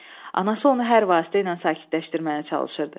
Anası onu hər vasitə ilə sakitləşdirməyə çalışırdı.